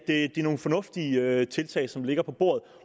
nogle fornuftige tiltag som ligger på bordet